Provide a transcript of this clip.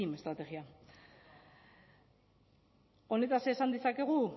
estrategia honetaz esan dezakegu